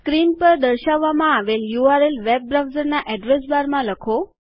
screen પર દર્શાવવામાં આવેલ યુઆરએલ વેબ બ્રાઉઝરના એધ્રેશબારમાં લખો